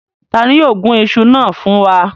Ta ni yóò gun iṣu na fun wa?